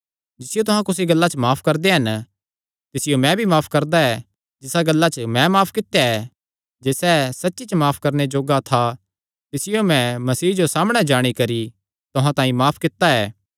जिसियो तुहां कुसी गल्ला च माफ करदे हन तिसियो मैं भी माफ करदा ऐ जिसा गल्ला च मैं माफ कित्या ऐ जे सैह़ सच्ची च माफ करणे जोग्गा था तिसियो मैं मसीह जो सामणै जाणी करी तुहां तांई माफ कित्ता ऐ